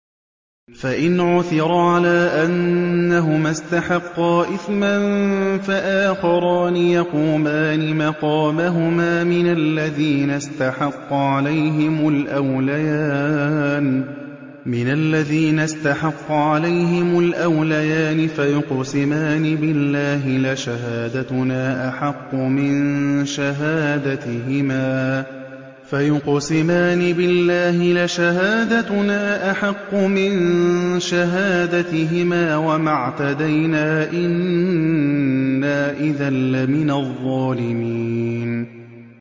فَإِنْ عُثِرَ عَلَىٰ أَنَّهُمَا اسْتَحَقَّا إِثْمًا فَآخَرَانِ يَقُومَانِ مَقَامَهُمَا مِنَ الَّذِينَ اسْتَحَقَّ عَلَيْهِمُ الْأَوْلَيَانِ فَيُقْسِمَانِ بِاللَّهِ لَشَهَادَتُنَا أَحَقُّ مِن شَهَادَتِهِمَا وَمَا اعْتَدَيْنَا إِنَّا إِذًا لَّمِنَ الظَّالِمِينَ